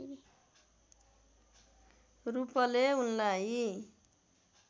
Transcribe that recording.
रूपले उनलाई